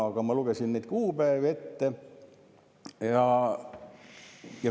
Aga ma lugesin neid kuupäevi ette.